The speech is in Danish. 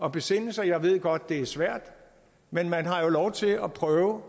at besinde sig jeg ved godt det er svært men man har jo lov til at prøve